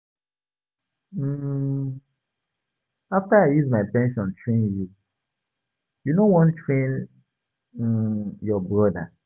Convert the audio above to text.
um After I use my pension train you, you no wan train um your broda.